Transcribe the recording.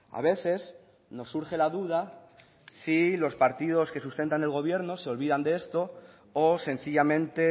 a veces nos surge la duda si los partidos que sustentan el gobierno se olvidan de esto o sencillamente